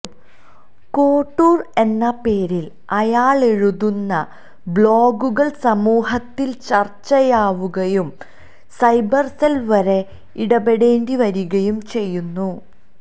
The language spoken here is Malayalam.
കോട്ടൂര് എന്ന പേരില് അയാളെഴുതുന്ന ബ്ലോഗുകള് സമൂഹത്തില് ചര്ച്ചയാവുകയും സൈബര്സെല് വരെ ഇടപെടേണ്ടി വരികയും ചെയ്യുന്നു